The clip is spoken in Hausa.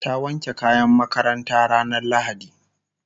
ta wanke kayan makarantanta ranar lahadi